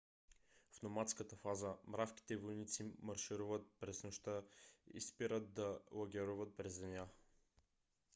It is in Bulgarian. в номадската фаза мравките-войници маршируват през нощта и спират да лагеруват през деня